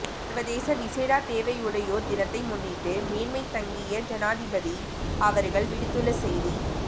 சர்வதேச விசேட தேவையுடையோர் தினத்தை முன்னிட்டு மேன்மைதங்கிய ஜனாதிபதி அவர்கள் விடுத்துள்ள செய்தி